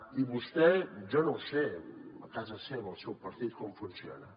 i vostè jo no ho sé a casa seva el seu partit com funciona